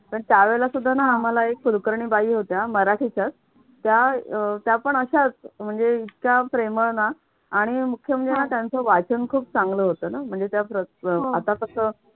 पण त्यावेळेला सुद्धा ना आम्हाला एक कुलकर्णी बाई होत्या मराठीच्याच अह त्या पण अशाच म्हणजे इतक्या प्रेमळ ना आणि मुख्य म्हणजे ना त्यांचं वाचन ना खूप चांगलं होतं ना म्हणजे त्या आता कसं